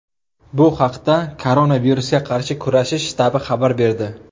Bu haqda Koronavirusga qarshi kurashish shtabi xabar berdi .